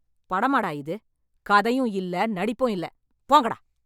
படமாடா இது? கதையும் இல்ல, நடிப்பும் இல்ல. போங்கடா.